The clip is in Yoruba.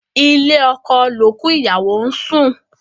Ilé oko l'òkú ìyàwó n sùn.